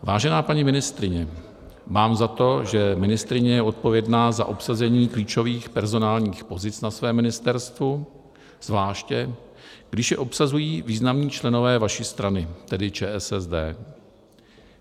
Vážená paní ministryně, mám za to, že ministryně je odpovědná za obsazení klíčových personálních pozic na svém ministerstvu, zvláště když je obsazují významní členové vaší strany, tedy ČSSD.